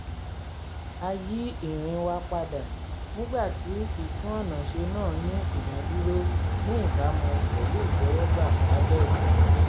a yí ìrìn wa padà nígbà tí ìtúnọ̀nàṣe náà ní ìdádúró ní ìbámu pẹ̀lú ìtẹ́wọ́gbà lábẹ́ òfin